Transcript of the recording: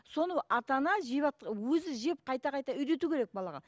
соны ата ана жеп алып өзі жеп қайта қайта үйрету керек балаға